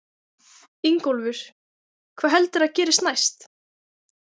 Ingólfur: Hvað heldurðu að gerist næst?